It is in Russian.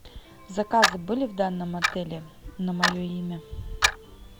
заказы были в данном отеле на мое имя